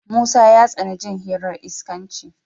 Musa ya tsani jin hirar iskanci.